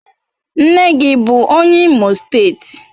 Nne gi bu onye Imo steeti?